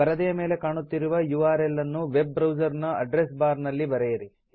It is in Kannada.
ಪರದೆಯ ಮೇಲೆ ಕಾಣುತ್ತಿರುವ ಯುಆರ್ಎಲ್ ಅನ್ನು ವೆಬ್ ಬ್ರೌಸರ್ ನ ಅಡ್ರೆಸ್ ಬಾರ್ ನಲ್ಲಿ ಬರೆಯಿರಿ